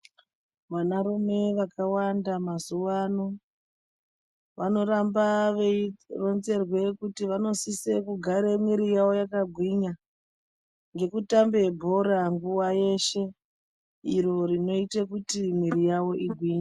Vanarume vakawanda mazuwa ano, vanoramba veironzerwe kuti, vanosisa kurambe mwiri yavo yakagwinya, ngekutamba bhora nguwa yeshe, iro rinoite kuti mwiri yavo igwinye.